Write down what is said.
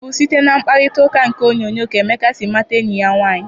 Ọ bụ site na mkparitauka nke onyoonyo ka Emeka si mata enyi ya nwaanyị.